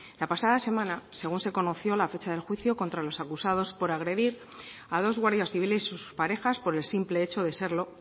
la semana pasada según se conoció la fecha del juicio contra los acusados por agredir a dos guardias civiles y sus parejas por el simple hecho de serlo